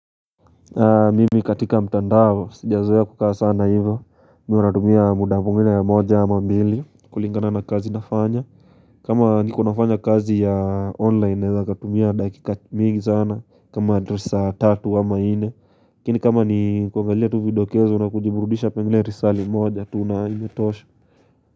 Mimi katika mtandao sijazoea kukaa sana hivyo Mimi huwa natumia muda mwingine moja ama mbili kulingana na kazi nafanya kama niko nafanya kazi ya online nawezakatumia dakika mingi sana kama tu saa tatu ama nne lakini kama ni kuangalia tu vidokezo na kujiburudisha pengine lisali moja tu inayonitosha.